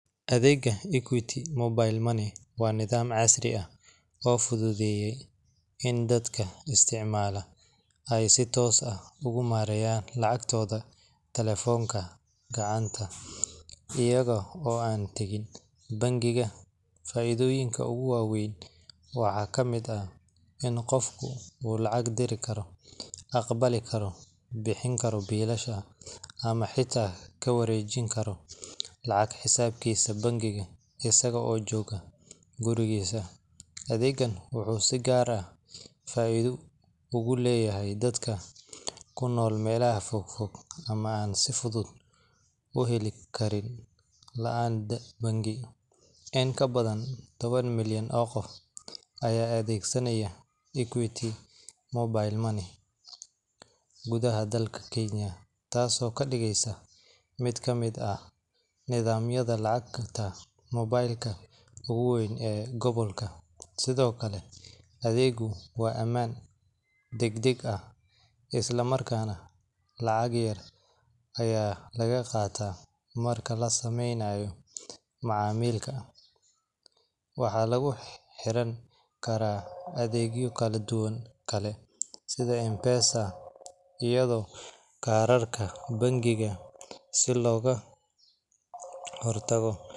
Adeega equity mobile money waa adeeg cusub oo fududeye in dad isticmaalo aay si toos ah ugu mareeyan telefonka gacanta, qofka lacag diri karo aqbali karo ama xitaa kawareejin Karo, adeega wuxuu faida uleyahay dadka joogo meela fogfog, dad badan ayaa adeegsanaayo, sido kale adeegu waa amaan dagdag ah, waxaa lagu xiran karaa adeegyo kala duban si looga hor tago.